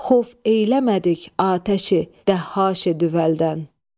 Xov eyləmədik atəşi, dəhqaşə düvəldən.